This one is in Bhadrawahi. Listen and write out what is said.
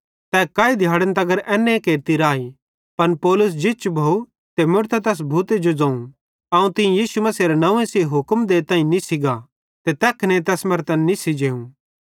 तै काई दिहाड़े एन्ने केरती राई पन पौलुसे जिच भोव ते मुड़तां तैस भूते जो ज़ोवं अवं तीं यीशु मसीहेरे नंव्वे सेइं हुक्म देताईं निस्सी गा ते तै तैखने तैस मरां निस्सी जेई